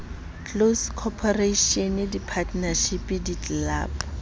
close corporation di partnership ditlelapo